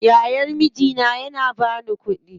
Yayan mijina ya bani kuɗi